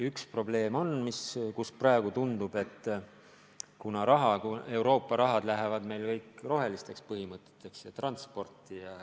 Üks probleem aga on see, et praegu tundub, et Euroopa rahad lähevad meil kõik roheliste põhimõtete järgimiseks ja transporti.